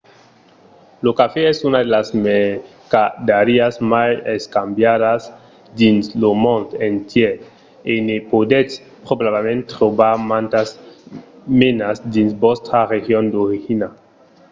lo cafè es una de las mercadariás mai escambiada dins lo mond entièr e ne podètz probablament trobar mantas menas dins vòstra region d'origina